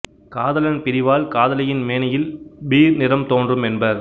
காதலன் பிரிவால் காதலியின் மேனியில் பீர் நிறம் தோன்றும் என்பர்